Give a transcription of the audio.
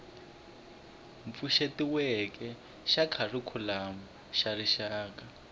pfuxetiweke xa kharikhulamu xa rixaka